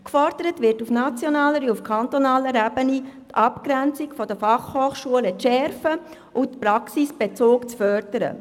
Es wird auf nationaler wie auf kantonaler Ebene gefordert, die Abgrenzung der FH zu stärken und den Praxisbezug zu intensivieren.